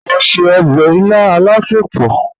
Mọ̀ n ṣẹ̀ ọbẹ̀ ilà alásẹpọ̀.